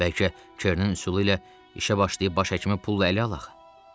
Bəlkə Kernin üsulu ilə işə başlayıb baş həkimi pulla ələ alaq.